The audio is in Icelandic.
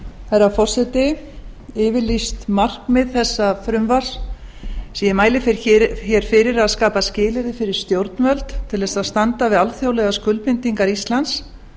herra forseti yfirlýst markmið þessa frumvarps sem ég mæli hér fyrir er að skapa skilyrði fyrir stjórnvöld til þess að standa við alþjóðlegar skuldbindingar íslands